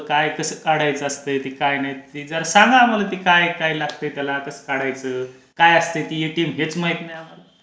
काय कसं काढायचं असते की काय नाही ते जर सांगा आम्हालाआता की काय काय लागतं? कसं काढायचं? काय असते ते एटीएम हेच माहीत नाही आम्हाला